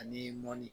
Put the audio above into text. Ani mɔni